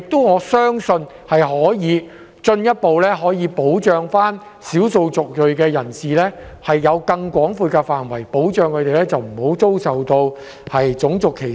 我相信，這樣可以進一步保障少數族裔人士，因為更廣闊的保障範圍讓他們不再受到種族歧視。